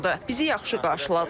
Bizi yaxşı qarşıladılar.